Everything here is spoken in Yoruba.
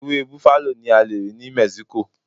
Ewé bufalo ni a lè rí ní Mexico.